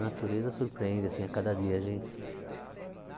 A natureza surpreende assim a cada dia, gente.